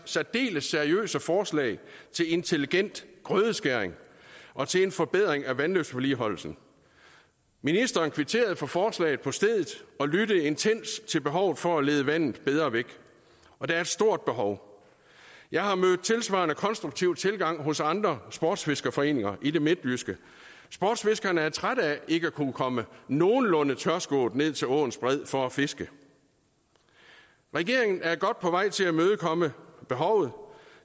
særdeles seriøse forslag til intelligent grødeskæring og til en forbedring af vandløbsvedligeholdelsen ministeren kvitterede for forslaget på stedet og lyttede intenst til behovet for at lede vandet bedre væk og der er et stort behov jeg har mødt tilsvarende konstruktive tilgange hos andre sportsfiskerforeninger i det midtjyske sportsfiskerne er trætte af ikke at kunne komme nogenlunde tørskoet ned til åens bred for at fiske regeringen er godt på vej til at imødekomme behovet